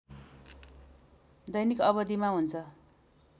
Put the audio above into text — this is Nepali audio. दैनिक अवधिमा हुन्छ